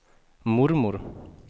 mormor